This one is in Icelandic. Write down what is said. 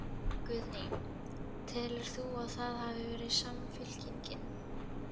Guðný: Telur þú að það hafi verið Samfylkingin?